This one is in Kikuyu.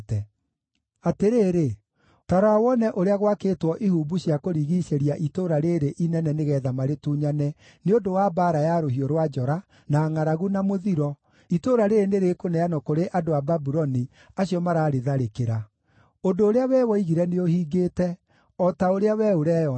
“Atĩrĩrĩ, ta rora wone ũrĩa gwakĩtwo ihumbu cia kũrigiicĩria itũũra rĩĩrĩ inene nĩgeetha marĩtunyane nĩ ũndũ wa mbaara ya rũhiũ rwa njora, na ngʼaragu, na mũthiro, itũũra rĩĩrĩ nĩrĩkũneanwo kũrĩ andũ a Babuloni acio mararĩtharĩkĩra. Ũndũ ũrĩa wee woigire nĩũhingĩte, o ta ũrĩa we ũreyonera.